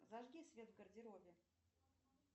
зажги свет в гардеробе